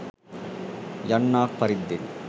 යන්නාක් පරිද්දෙනි.